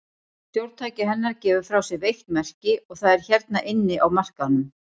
Stjórntæki hennar gefur frá sér veikt merki, og það er hérna inni á markaðnum.